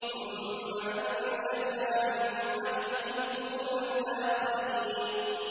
ثُمَّ أَنشَأْنَا مِن بَعْدِهِمْ قُرُونًا آخَرِينَ